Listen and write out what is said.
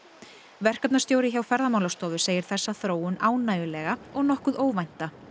verkefnastjóri hjá Ferðamálastofu segir þessa þróun ánægjulega og nokkuð óvænta